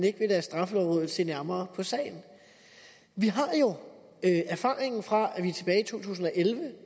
ikke vil lade straffelovrådet se nærmere på sagen vi har jo erfaringen fra to tusind og elleve